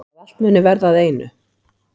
Að allt muni verða að einu.